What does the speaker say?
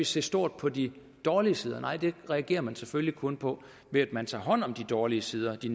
se stort på de dårlige sider nej det reagerer man selvfølgelig kun på ved at man tager hånd om de dårlige sider de